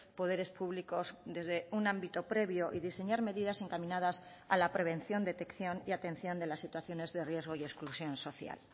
poderes públicos desde un ámbito previo y diseñar medidas encaminadas a la prevención detección y atención de las situaciones de riesgo y exclusión social